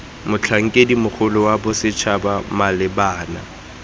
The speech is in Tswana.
motlhankedi mogolo wa bosetšhaba malebana